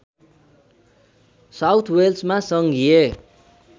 south वेल्समा सङ्घीय